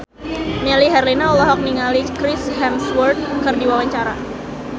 Melly Herlina olohok ningali Chris Hemsworth keur diwawancara